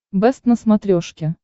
бэст на смотрешке